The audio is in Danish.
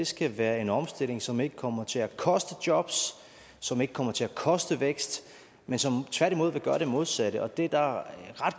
skal være en omstilling som ikke kommer til at koste jobs som ikke kommer til at koste vækst men som tværtimod vil gøre det modsatte det er der ret